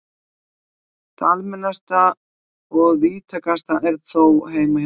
Það almennasta og víðtækasta er þó: Heima hjá þér.